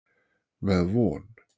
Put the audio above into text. Með von.